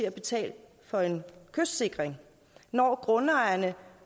at betale for en kystsikring når grundejerne